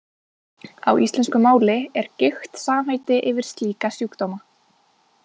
Á íslensku máli er gigt samheiti yfir slíka sjúkdóma.